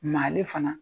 Maa le fana